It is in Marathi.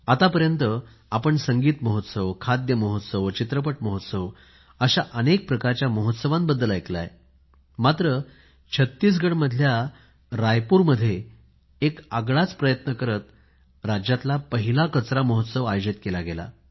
आतापर्यंत आपण संगीत महोत्सव खाद्य महोत्सवचित्रपट महोत्सव अशा अनेक प्रकारच्या महोत्सवाबद्दल ऐकले आहे मात्र छत्तीसगड मधल्या रायपुर मध्ये एक आगळाच प्रयत्न करत राज्याचा पहिला कचरा महोत्सव आयोजित केला गेला